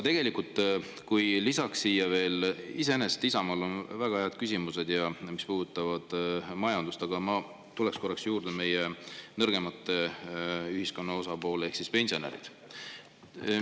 Iseenesest Isamaal on väga head küsimused, mis puudutavad majandust, aga ma tuleksin korraks meie ühiskonna nõrgema osa ehk pensionäride juurde.